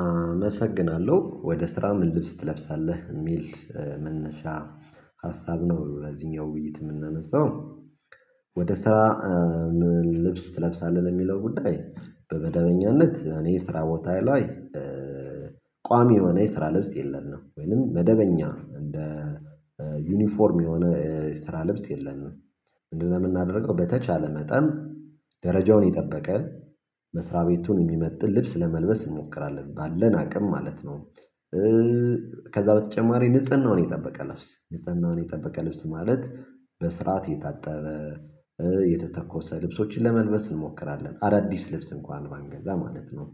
አመሰግናለሁ ወደ ስራ ምን ልብስ ትለብሳለህ የሚል መነሻ ሀሳብ ነው በዚህኛው ውይይት የምንነሳው። ወደ ስራ? ምን ልብስ ትለብሳለህ የሚለው ጉዳይ በመደበኛነት እኔ ስራ ቦታ ላይ ቋሚ የሆነ የስራ ልብስ የለንም ወይም መደበኛ እንደ ዩኒፎርም የሆነ ስራ ልብስ የለም። ምንድነው የምናደርገው በተቻለ መጠን ደረጃውን የጠበቀ መስሪያ ቤቱን የሚመጥን ልብስ ለመልበስ እንሞክራለን ባለን አቅም ማለት ነው። ከዛ በተጨማሪ ንጽህናውን የጠበቀ ልብስ ንጽህናውን የጠበቀ ልብስ ማለት በስርዓት የታጠበ የተተኮሰ ልብሶችን ለመልበስ እንሞክራለን አዳዲስ ልብስ እንኳን ባንገዛ ማለት ነው።